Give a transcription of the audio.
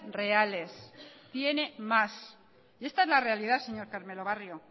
reales tiene más y esta es la realidad señor carmelo barrio